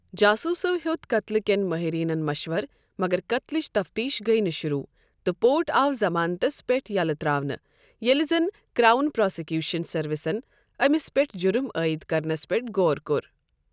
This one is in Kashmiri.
جاسوٗسو ہیوٚت قتلہٕ کٮ۪ن مٲہِریٖنن مشوَرٕ مگر قتلٕچ تفتیٖش گٔٮہ نہٕ شروٗع تہٕ رپورٹ آو ضمانتس پٮ۪ٹھ یَلہٕ ترٛاونہٕ ییٚلہِ زن کرٛاون پرٛازکیٛوشن سٔروِسن أمِس پٮ۪ٹھ جرم عٲیِد کرنس پٮ۪ٹھ غور کوٚر۔